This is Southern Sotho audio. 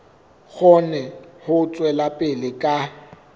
kgone ho tswela pele ka